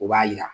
O b'a yira